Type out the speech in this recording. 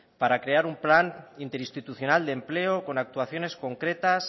para crear un plan interinstitucional de empleo con actuaciones concretas